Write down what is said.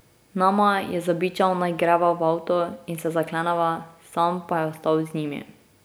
Nama je zabičal naj greva v avto in se zakleneva, sam pa je ostal z njimi.